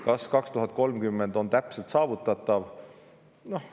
Kas see on täpselt aastaks 2030 saavutatav?